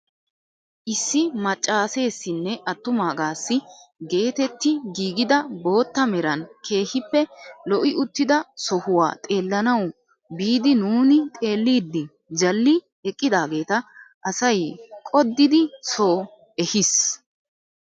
Issi maccasessinne attumaagassi getetti giigida bootta meran keehippe lo"i uttida sohuwaa xeellanawu biidi nuuni xeelliidi jalli eqqidaageta asay qoddidi soo ehis!